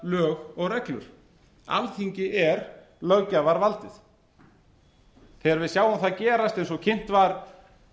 lög og reglur alþingi er löggjafarvaldið þegar við sjáum það gerast eins og kynnt var